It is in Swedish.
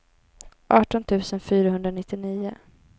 arton tusen fyrahundranittionio